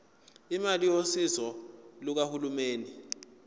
imali yosizo lukahulumeni